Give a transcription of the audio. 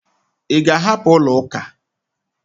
Ị ga-ahapụ ụlọuka?